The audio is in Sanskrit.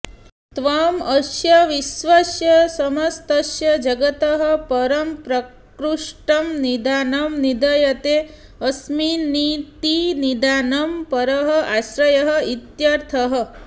त्वं अस्य विश्वस्य समस्तस्य जगतः परं प्रकृष्टं निधानं निधीयते अस्मिन्निति निधानं परः आश्रयः इत्यर्थः